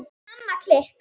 Í Mamma klikk!